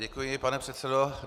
Děkuji, pane předsedo.